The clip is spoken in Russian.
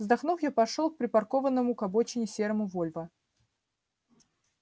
вздохнув я пошёл к припаркованному к обочине серому вольво